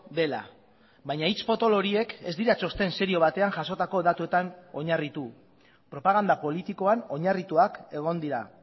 dela baina hitz potolo horiek ez dira txosten serio batean jasotako datuetan oinarritu propaganda politikoan oinarrituak egon dira